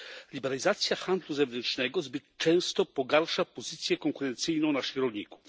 Liberalizacja handlu zewnętrznego zbyt często pogarsza pozycję konkurencyjną naszych rolników.